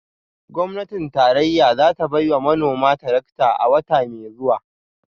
Gwamnatin tarayya za ta bai wa manoma tarakta a wata mai zuwa